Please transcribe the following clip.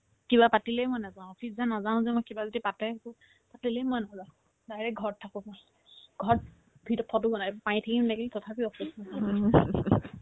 কিবা পাতিলে মই নাযাও office যে নাযাও যে মই কিবা যদি পাতে একো totally মই নাযাও direct ঘৰত থাকো মই ঘৰত ভিতৰত থকাতো কোৱা নাই পানীত থাকিম নেকি তথাপিও office নাযাও